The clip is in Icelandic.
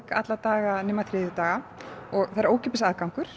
alla daga nema þriðjudaga og ókeypis aðgangur